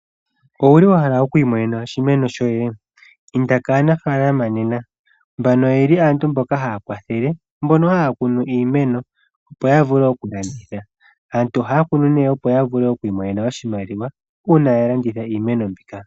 Owuli wa hala oku imenena oshimeno shoye? inda kaanafalama nena mbano oyeli aantu mboka haya kwathele mbono haya kunu iimeno opo ya vule oku landitha, aantu ohaya kunu opo ya vule oku imonena oshimaliwa uuna ya landitha iimeno mbika.